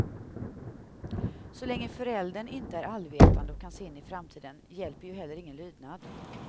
Så länge föräldern inte är allvetande och kan se in i framtiden, hjälper ju heller ingen lydnad.